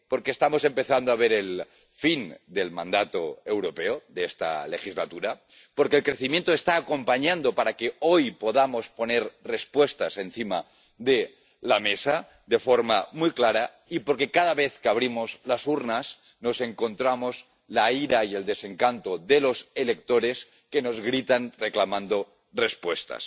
Porque estamos empezando a ver el fin del mandato europeo, de esta legislatura, porque el crecimiento está acompañando para que hoy podamos poner respuestas encima de la mesa de forma muy clara, y porque cada vez que abrimos las urnas nos encontramos la ira y el desencanto de los electores que nos gritan reclamando respuestas.